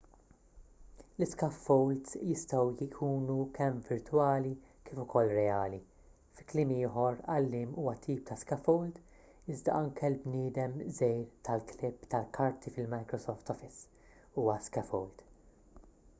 l-iscaffolds jistgħu jkunu kemm virtwali kif ukoll reali fi kliem ieħor għalliem huwa tip ta' scaffold iżda anke l-bniedem żgħir tal-klipp tal-karti fil-microsoft office huwa scaffold